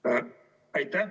Aitäh!